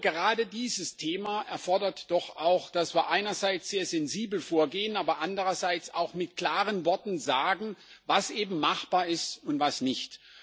Gerade dieses Thema erfordert doch auch, dass wir einerseits sehr sensibel vorgehen, aber andererseits auch mit klaren Worten sagen, was eben machbar ist und was nicht.